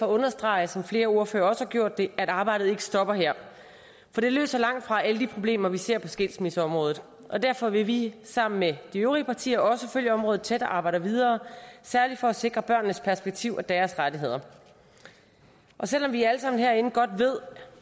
at understrege som flere andre ordførere også har gjort det at arbejdet ikke stopper her for det løser langtfra alle de problemer vi ser på skilsmisseområdet derfor vil vi sammen med de øvrige partier følge området tæt og arbejde videre særlig for at sikre børnenes perspektiv og deres rettigheder selv om vi alle sammen herinde godt ved